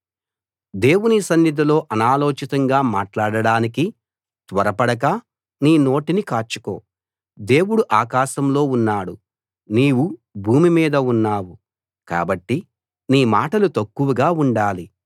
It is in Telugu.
దేవుని సన్నిధిలో అనాలోచితంగా మాట్లాడడానికి త్వరపడక నీ నోటిని కాచుకో దేవుడు ఆకాశంలో ఉన్నాడు నీవు భూమి మీద ఉన్నావు కాబట్టి నీ మాటలు తక్కువగా ఉండాలి